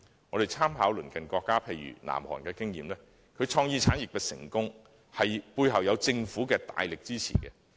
我們可參考鄰近國家的經驗，其創意產業的成功，背後有政府的大力支持。